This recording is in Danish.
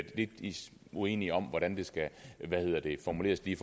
lidt uenige om hvordan det skal formuleres lige